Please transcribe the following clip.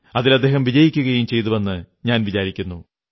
അതിൽ അദ്ദേഹം വിജയിക്കുകയും ചെയ്തുവെന്നു ഞാൻ വിചാരിക്കുന്നു